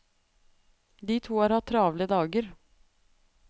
De to har hatt travle dager.